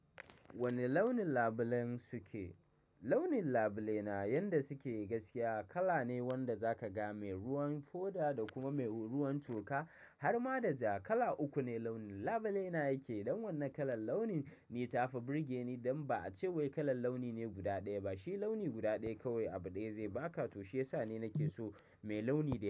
Wane launin labulen suke? Launin labule na yanda suke gaskiya kala ne wanda zaka ga mai ruwan foda da kuma mai ruwan toka har ma da ja kala uku ne launin labule na yake don wannan kalan launi ni ta fa birge ni don ba a ce wai kalan launi ne guda ɗaya ba shi launi guda ɗaya kawai abu ɗaya zai baka to shiyasa ne nake so mai launi ne.